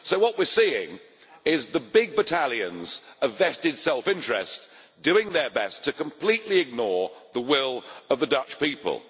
So, what we are seeing is the big battalions of vested self interest doing their best to completely ignore the will of the Dutch people.